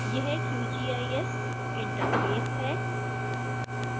यह qgis interface है